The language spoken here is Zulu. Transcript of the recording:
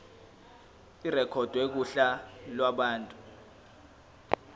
irekhodwe kuhla lwabantu